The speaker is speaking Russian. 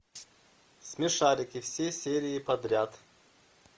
смешарики все серии подряд